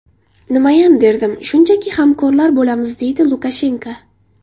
Nimayam derdim, shunchaki hamkorlar bo‘lamiz”, deydi Lukashenko.